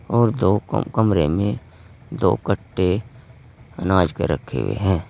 और दो क कमरे में दो कट्टे अनाज के रखे हुए हैं।